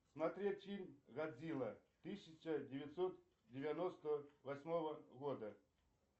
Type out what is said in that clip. смотреть фильм годзилла тысяча девятьсот девяносто восьмого года